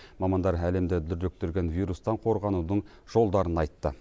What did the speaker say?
мамандар әлемді дүрліктірген вирустан қорғанудың жолдарын айтты